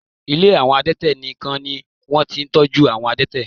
Ilé àwọn adẹ́tẹ̀ nìkan ni wọ́n ti ń tọ́jú àwọn adẹ́tẹ̀